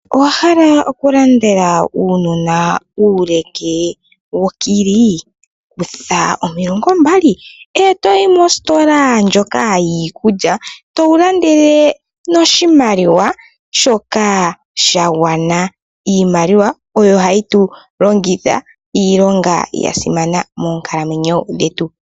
Owahala okulandela aanona uuleke wokili kutha omilongo mbali etoyi mositola ndjoka yiiikulya towu landele noshimaliwa shoka sha gwana ,iimaliwa oyo hayi tu longitha iilonga ya simana moonkalamwenyo dhetu.